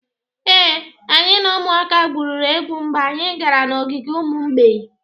Ee, anyị na ụmụaka gwurịrị egwu mgbe anyị gara n'ogige ụmụ mgbei